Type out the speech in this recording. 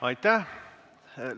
Aitäh!